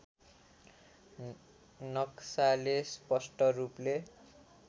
नक्साले स्पष्ट रूपले